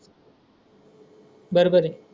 बर बर आहे.